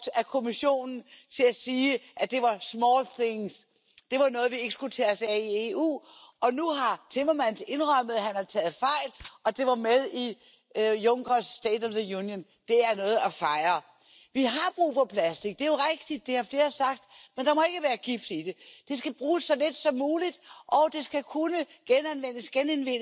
permettant d'éliminer les plastiques des océans. En effet, plusieurs projets très innovants sont apparus dans ce but et n'attendent que d'être soutenus. Malheureusement, les principaux groupes politiques n'ont pas jugé nécessaire de donner suite à ma proposition. Alors oui, on peut discuter des heures durant de l'urgence d'agir, mais qu'attendons